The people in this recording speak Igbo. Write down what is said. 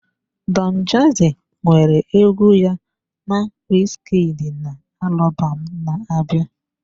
Don jazzy nwere egwu ya na Wizkid na alubom na-abịa.